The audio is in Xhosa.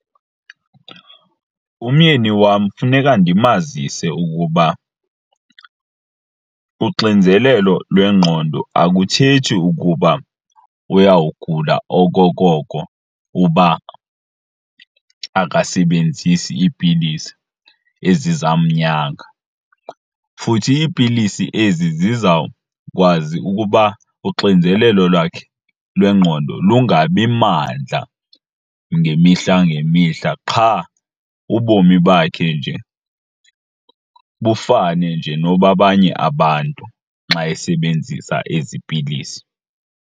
Umyeni wam funeka ndimazise ukuba uxinzelelo lwengqondo akuthethi ukuba uyawugula okokoko uba akasebenzisi iipilisi ezizamnyanga. Futhi iipilisi ezi zizawukwazi ukuba uxinzelelo lwakhe lwengqondo lungabi mandla ngemihla ngemihla qha ubomi bakhe nje bufane nje nobabanye abantu xa esebenzisa ezi pilisi.